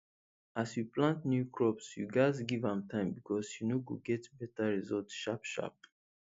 as you plant new crops you gats give am time becos you no go get better result sharp sharp